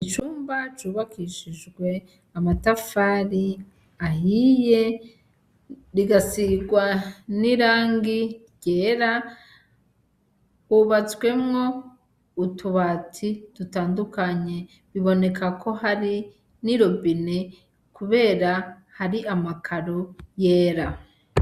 Icumba cubakishijwe amatafari ahiye rigasigwa n'irangi ryera, hubatswemwo utubati dutandukanye biboneka ko hari ni robine kubera hari amakaro yera.